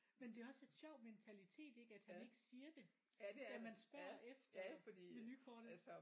Men det også et sjov mentalitet ik at han ikke siger det at man spørger efter menukortet